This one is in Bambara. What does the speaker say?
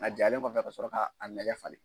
A jalen kɔfɛ ka sɔrɔ ka lajɛ falen.